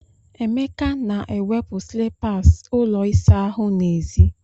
Emeka na-ewepụ slippers ụlọ ịsa ahụ n'èzí.